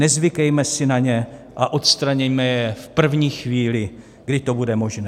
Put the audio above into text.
Nezvykejme si na ně a odstraňme je v první chvíli, kdy to bude možné.